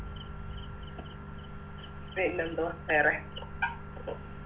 പിന്നെന്തുവാ വേറെ